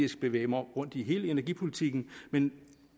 bevæge mig rundt i hele energipolitikken men